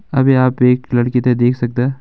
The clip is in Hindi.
अभी आप एक लड़की त देख सकदा --